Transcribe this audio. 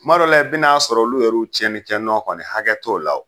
Kuma dɔ la i bɛn'a sɔrɔ olu yɛruw tiɲɛnikɛnɔ kɔni hakɛ t'o la o.